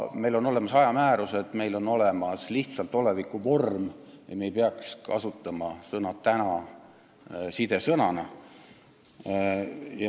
Meil on olemas ajamäärused, meil on olemas lihtsalt oleviku vorm ja me ei peaks kasutama sõna "täna" sidesõnana.